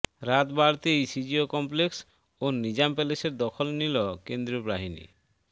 রাত বাড়তেই CGO complex ও নিজাম প্যালেসের দখল নিল কেন্দ্রীয় বাহিনী